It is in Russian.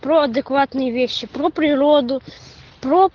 про адекватные вещи про природу про